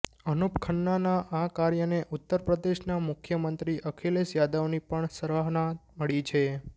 અનુપ ખન્નાના આ કાર્યને ઉત્તર પ્રદેશના મુખ્યમંત્રી અખિલેશ યાદવની પણ સરાહના મળી છે